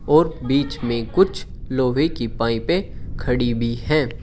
और बीच में कुछ लोहे की पाइपे खड़ी भी है।